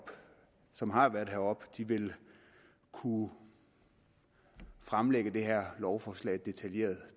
som har været heroppe vil kunne fremlægge det her lovforslag detaljeret